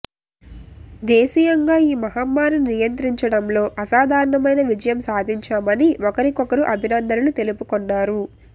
దేశీయంగా ఈ మహమ్మారిని నియంత్రించడంలో అసాధారణమైన విజయం సాధించామని ఒకరికొకరు అభినందనలు తెలుపుకొన్నారు